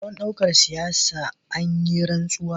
Don ɗaukar matsayin siyasa, an yi rantsuwa